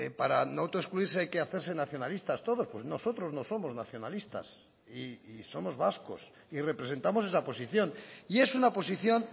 para no autoexcluirse hay que hacerse nacionalistas todos pues nosotros no somos nacionalistas y somos vascos y representamos esa posición y es una posición